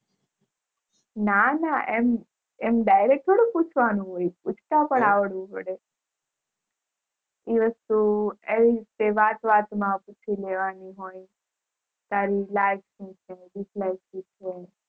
ના ના એમ Direct થોડી પૂછવાનું હોય પુછાતા પણ આવડવું પડે એ વસ્તુ વાત વાત માં પૂછી લેવાનું હોય તારી like શું છે Dislike શું છે